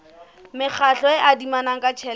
mekgatlo e adimanang ka tjhelete